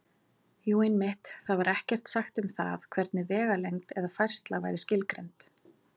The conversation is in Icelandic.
Jú, einmitt: Þar var ekkert sagt um það hvernig vegalengd eða færsla væri skilgreind!